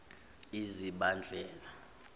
uzibandlela